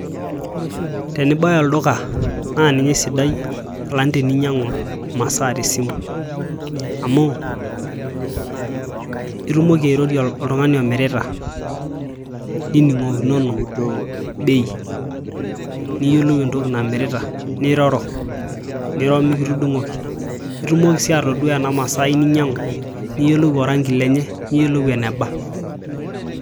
Tenibaya olduka naa ninye osidai alang teninyiang'u imasaa tesimu amu itumoki airorie oltung'ani omirita nining'okinono bei niyiolou entoki namirita niroro niro mikitudung'oki itumoki sii atodua ena masai ninyiang'u nayiolou orangi lenye niyiolou eneba .